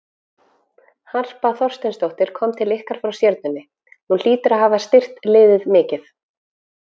Harpa Þorsteinsdóttir kom til ykkar frá Stjörnunni, hún hlýtur að hafa styrkt liðið mikið?